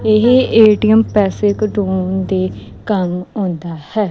ਏਹ ਏ_ਟੀ_ਐਮ ਪੈਸੇ ਕਢਾਉਨ ਦੇ ਕੰਮ ਆਉਂਦਾ ਹੈ।